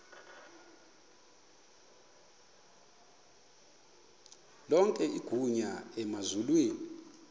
lonke igunya emazulwini